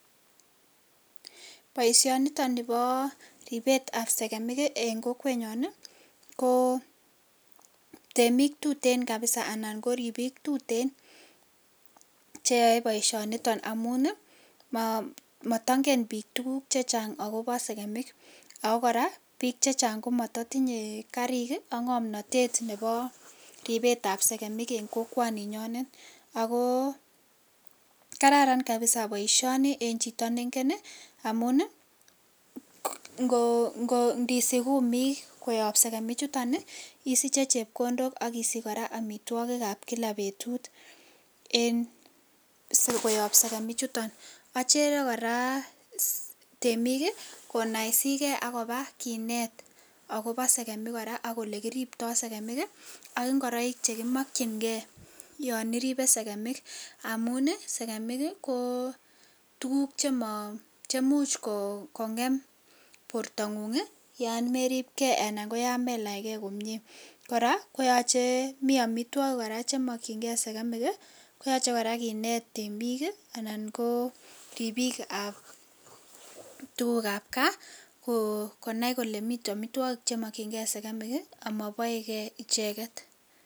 Baishoni niton Nebo ribet ab sekemik en kokwet nyon ko temik tuten kabisa anan koribik tuten cheyae baishoniton amun matangen bik tuguk chechang akoba segemik akokoraa bik chechang komatatinye Karik AK ngamnatet Nebo ribet ab segemik en kokwaninyonet ako kararan kabisa baishoni en Chito nengen amun nisich kumik koyab segemik chuton isiche chepkondok akisich koraa amitagik ab kika betut en sikoyabbsegemik chuton avmchere koraa temik konaisigei akoba Kinet akoba segemik akoyelekiriptoi segemik AK ingoroik chekimakingei yaniribe segemik amun segemik ko tuguk chemaimuch kongem borta ngung yameripgei anan yamelach gei komie koraaa koyache mi amitwagik koraa chemakin gei sekemik koyache kenetbik anan ko bik ab tuguk ab Kaa konai Kole miten amitwakik chemakingei sekemik amabaekei ichete